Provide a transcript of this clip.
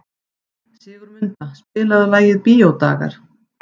Sigurmunda, spilaðu lagið „Bíódagar“.